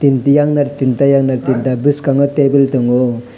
tin tiyan tinta yangnar boskango tebil tango.